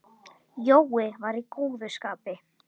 Jói var í góðu skapi.